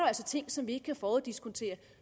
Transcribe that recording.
altså ting som vi ikke kan foruddiskontere